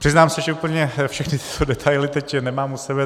Přiznám se, že úplně všechny tyto detaily teď nemám u sebe.